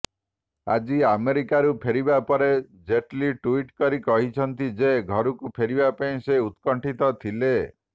ଆଜି ଆମେରିକାରୁ ଫେରିବାପରେ ଜେଟ୍ଲି ଟ୍ବିଟ୍ କରି କହିଛନ୍ତି ଯେ ଘରକୁ ଫେରିବାପାଇଁ ସେ ଉତ୍କଣ୍ଠିତ ଥିଲେ